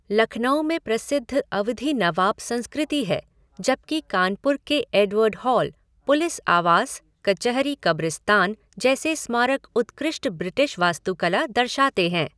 लखनऊ में प्रसिद्ध अवधी नवाब संस्कृति है, जबकि कानपुर के एडवर्ड हॉल, पुलिस आवास, कचहरी कब्रिस्तान जैसे स्मारक उत्कृष्ट ब्रिटिश वास्तुकला दर्शाते हैं।